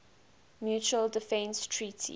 mutual defense treaty